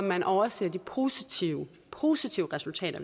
man overser de positive positive resultater